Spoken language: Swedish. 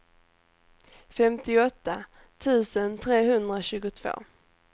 femtioåtta tusen trehundratjugotvå